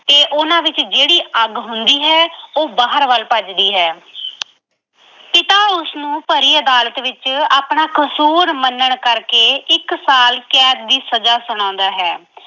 ਤੇ ਉਹਨਾਂ ਵਿੱਚ ਜਿਹੜੀ ਅੱਗ ਹੁੰਦੀ ਹੈ ਉਹ ਬਾਹਰ ਵੱਲ ਭੱਜਦੀ ਹੈ ਪਿਤਾ ਉਸਨੂੰ ਭਰੀ ਅਦਾਲਤ ਵਿੱਚ ਆਪਣਾ ਕਸੂਰ ਮੰਨਣ ਕਰਕੇ ਇੱਕ ਸਾਲ ਕੈਦ ਦੀ ਸਜ਼ਾ ਸੁਣਾਉਂਦਾ ਹੈ।